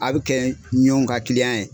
A bɛi kɛ ɲɔn ka ye.